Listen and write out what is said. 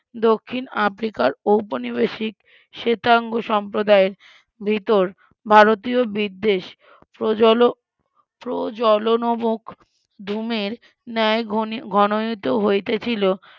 দক্ষিন আফ্রিকার উপনিবেশিক শ্বেতাঙ্গ সম্প্রদায়ের ভিতর ভারতীয় বিদ্বেষ প্রজল প্রজলনমুখ ধূমের ন্যায়ে ঘন ঘনায়িত হইতেছিল